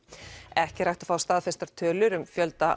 ekki er hægt að fá staðfestar tölur um fjölda